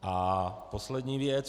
A poslední věc.